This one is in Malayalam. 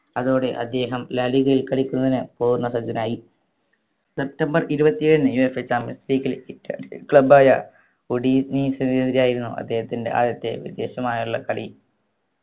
അതോടെ അദ്ദേഹം ലാ ലിഗയിൽ കളിക്കുന്നതിന് പൂർണ പരിചിതനായി സെപ്റ്റംബർ ഇരുപത്തിയേഴിന് UEFA champions leagueittalian club ആയ ഒഡീനീസിന് എതിരായിരുന്നു അദ്ദേഹത്തിൻറെ ആദ്യത്തെ വ്യത്യസ്തമായുള്ള കളി